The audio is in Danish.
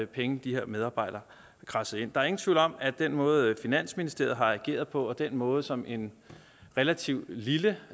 penge de her medarbejdere kradsede ind der er ingen tvivl om at den måde finansministeriet har ageret på og den måde som en relativt lille